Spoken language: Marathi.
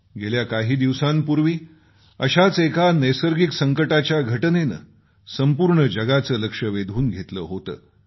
गेल्या काही दिवसांपूर्वी अशाच एका नैसर्गिक संकटाच्या घटनेनं संपूर्ण जगाचं लक्ष वेधून घेतलं होतं